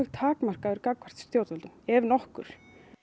takmarkaður gagnvart stjórnvöldum ef nokkur